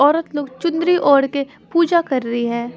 औरत लोग चुनरी ओढ़ के पूजा कर रही है।